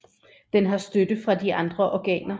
Den har støtte fra de andre organer